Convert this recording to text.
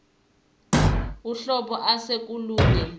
uhlobo ase kolunye